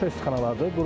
Şüşə istixanalardır.